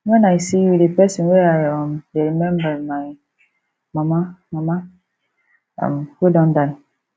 wen i see you the person wey i um dey remember be my mama mama um wey don die